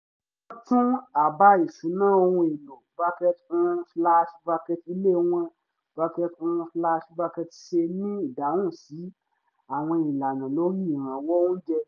wọ́n tún àbá ìṣúná ohun èlò um ilé wọn um ṣe ní ìdáhùn sí àwọn ìlànà lórí ìrànwọ́ oúnjẹ